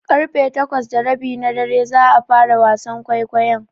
Ƙarfe takwas da rabi na dare za a fara wasan kwaikwayon.